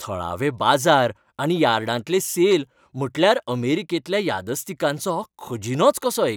थळावे बाजार आनी यार्डांतले सेल म्हटल्यार अमेरिकेंतल्या यादस्तिकांचो खजिनोच कसो एक.